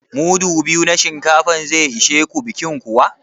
Mudu biyu na shinkafa zai ishe ku bikin kuwa?